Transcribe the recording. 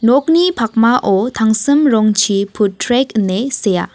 nokni pakmao tangsim rongchi pud trek ine sea.